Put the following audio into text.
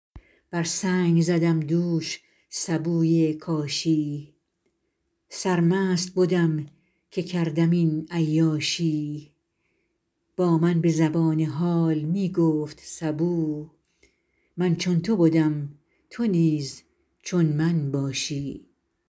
بر سنگ زدم دوش سبوی کاشی سرمست بدم که کردم این عیاشی با من به زبان حال می گفت سبو من چون تو بدم تو نیز چون من باشی